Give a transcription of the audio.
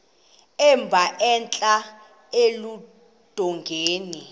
emba entla eludongeni